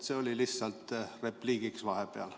See oli lihtsalt repliigiks vahepeal.